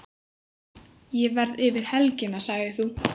Ég verð yfir helgina, sagðir þú.